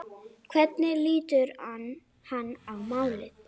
Hvernig lítur hann á málið?